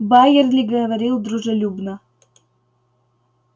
байерли говорил дружелюбно